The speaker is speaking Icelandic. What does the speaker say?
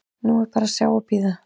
Nú er bara að bíða og sjá.